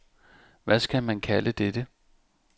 Hvad skal man kalde dette?